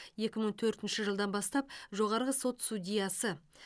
екі мың төртінші жылдан бастап жоғарғы сот судьясы